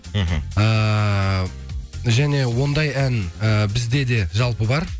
мхм эээ және ондай ән э бізде де жалпы бар